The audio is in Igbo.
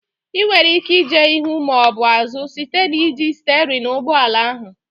Ị nwere ike ije ihu maọbụ azụ site n'iji sterịn ụgbọala ahụ